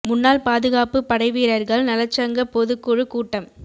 முன்னாள் பாதுகாப்புப் படை வீரா்கள் நலச் சங்க பொதுக் குழுக் கூட்டம்